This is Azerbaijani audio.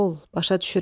başa düşürəm.